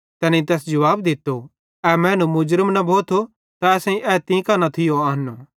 तैनेईं तैस जुवाब दित्तो ए मैनू मुर्ज़म न भोथो त असेईं ए तीं कां न थियो आन्नो